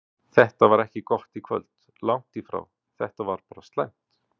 Þetta var ekki gott í kvöld, langt í frá, þetta var bara slæmt.